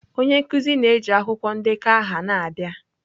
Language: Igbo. Onye nkuzi na-eji akwụkwọ ndekọ aha na-abịa.